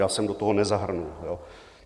Já jsem do toho nezahrnul...